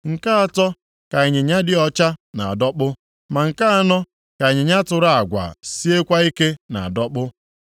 Nke atọ ka ịnyịnya dị ọcha na-adọkpụ, ma nke anọ ka ịnyịnya tụrụ agwa siekwa ike na-adọkpụ.